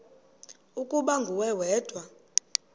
ukuba nguwe wedwa